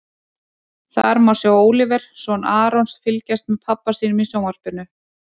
Þar má sjá Óliver, son Arons, fylgjast með pabba sínum í sjónvarpinu.